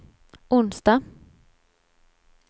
onsdag